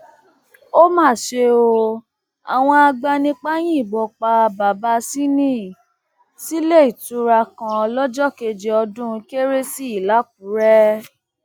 ó mà ṣe o àwọn agbanipa yìnbọn pa babasinni sílẹìtura kan lọjọ kejì ọdún kérésì làkúrẹ